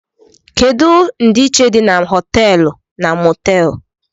Kedu ndiichie di na hoteelu na motéelu?